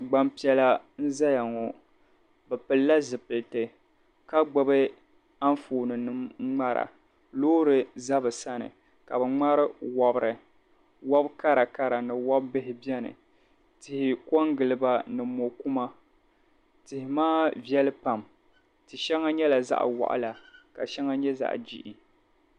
Gbampiɛla n-zaya ŋɔ bɛ pilila zipiliti ka gbibi anfooninima n-ŋmara. Loori za bɛ sani ka bɛ ŋmari wobiri. Wob' karakara ni wob' bihi beni. Tihi kɔŋgili ba ni mɔ' kuma tihi maa viɛli pam ti' shɛŋa nyɛla zaɣ' waɣila ka shɛŋa nyɛ zaɣ' jihi.